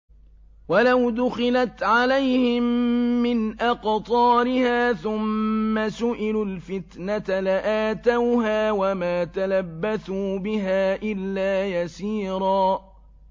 وَلَوْ دُخِلَتْ عَلَيْهِم مِّنْ أَقْطَارِهَا ثُمَّ سُئِلُوا الْفِتْنَةَ لَآتَوْهَا وَمَا تَلَبَّثُوا بِهَا إِلَّا يَسِيرًا